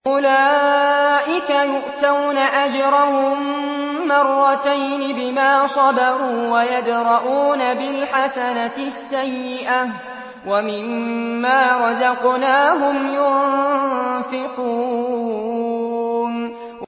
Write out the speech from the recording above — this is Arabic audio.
أُولَٰئِكَ يُؤْتَوْنَ أَجْرَهُم مَّرَّتَيْنِ بِمَا صَبَرُوا وَيَدْرَءُونَ بِالْحَسَنَةِ السَّيِّئَةَ وَمِمَّا رَزَقْنَاهُمْ يُنفِقُونَ